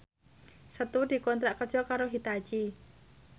Setu dikontrak kerja karo Hitachi